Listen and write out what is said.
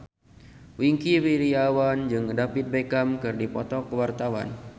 Wingky Wiryawan jeung David Beckham keur dipoto ku wartawan